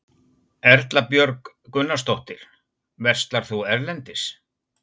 Erla Björg Gunnarsdóttir: Verslar þú erlendis?